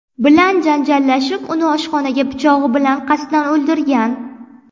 bilan janjallashib, uni oshxona pichog‘i bilan qasddan o‘ldirgan.